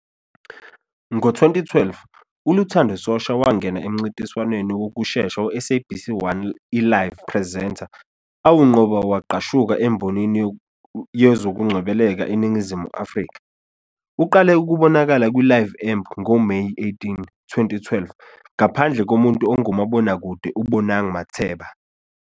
Ngo-2012,uLuthando Shosha wangena emncintiswaneni wokusesha we-SABC 1 iLive Presenter awunqoba wagqashuka embonini yezokungcebeleka eNingizimu Afrika. Uqale ukubonakala kwiLive Amp ngoMeyi 18, 2012 ngaphandle komuntu ongumabonakude uBonang Matheba.